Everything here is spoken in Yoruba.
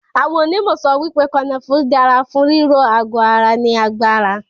Awọ́n onímọ̀ sọ wípé kanafúrú dára fún ríró àgọ ara ní agbára.